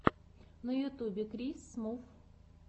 на ютьюбе крис смув